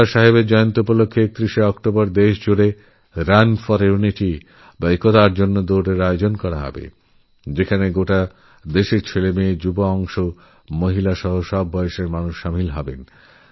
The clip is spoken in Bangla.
সর্দার সাহেবের জন্মদিন ৩১শে অক্টোবর সেই উপলক্ষ্যে সারাদেশ জুড়ে রান ফোর ইউনিটি এর আয়োজন করা হবে যেখানে শিশু নারী যুবসমাজ প্রবীণেরাপ্রত্যেকেই শামিল হবে